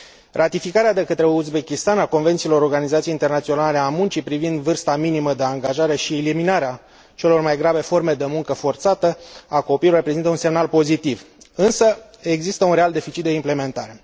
Ratificarea de către Uzbekistan a convențiilor Organizației Internaționale a Muncii privind vârsta minimă de angajare și eliminarea celor mai grave forme de muncă forțată a copiilor reprezintă un semnal pozitiv, însă există un real deficit de implementare.